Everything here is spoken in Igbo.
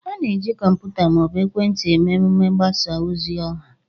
A na-eji kọmputa ma ọ bụ ekwentị eme mmemme mgbasa ozi ọha